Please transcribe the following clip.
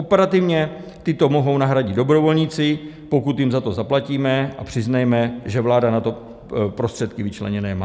Operativně tyto mohou nahradit dobrovolníci, pokud jim za to zaplatíme, a přiznejme, že vláda na to prostředky vyčleněny má.